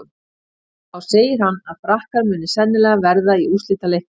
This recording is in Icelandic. Þá segir hann að Frakkar muni sennilega verða í úrslitaleiknum.